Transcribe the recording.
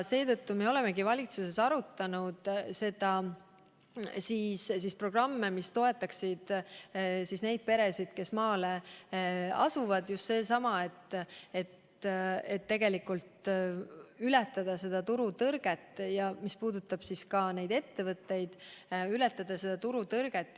Seetõttu me olemegi valitsuses arutanud programme, mille kaudu toetada peresid, kes maale elama asuvad, ületada turutõrge, ja ka ettevõtete puhul ületada turutõrget.